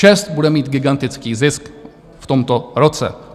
ČEZ bude mít gigantický zisk v tomto roce.